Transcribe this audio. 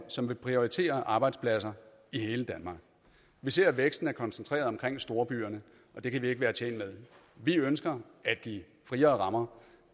som vil prioritere arbejdspladser i hele danmark vi ser at væksten er koncentreret omkring storbyerne og det kan vi ikke være tjent med vi ønsker at give friere rammer